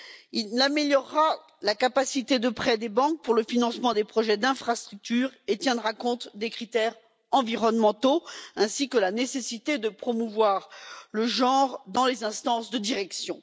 Il améliorera la capacité de prêt des banques pour le financement des projets d'infrastructures et tiendra compte des critères environnementaux, ainsi que de la nécessité de promouvoir l'égalité des genres dans les instances de direction.